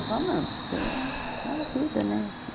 Eu falo, não, porque é a vida, né? assim